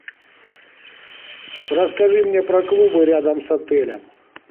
расскажи мне про клубы рядом с отелем